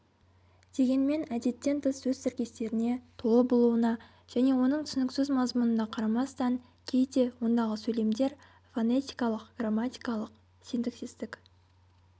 дегенмен әдеттен тыс сөз тіркестеріне толы болуына және оның түсініксіз мазмұнына қарамастан кейде ондағы сөйлемдер фонетикалық грамматикалық синтаксистік